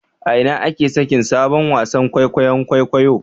A ina ake sakin sabon wasan kwaikwayon kwaikwayo